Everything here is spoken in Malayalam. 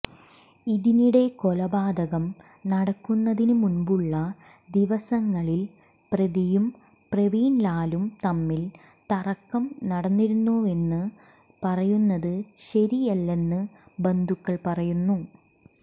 ഇതിനിടെ കൊലപാതകം നടക്കുന്നതിനു മുമ്പുള്ള ദിവസങ്ങളിൽ പ്രതിയും പ്രവീൺലാലും തമ്മിൽ തർക്കം നടന്നിരുന്നുവെന്നു പറയുന്നതു ശരിയല്ലെന്നു ബന്ധുക്കൾ പറയുന്നു